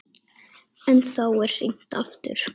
En þá er hringt aftur.